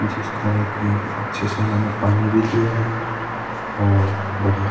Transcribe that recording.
जिसको ओके अच्छे से इन्होने पानी भी दिया है और बढिया।